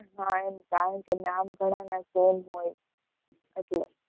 હા એમ કારણ કે નામ ઘણ ના same હોય એટલે.